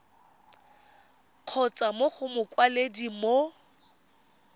kgotsa mo go mokwaledi mo